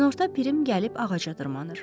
Günorta Pirim gəlib ağaca dırmaşır.